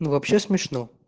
ну вообще смешно